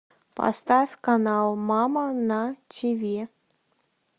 поставь канал мама на тиви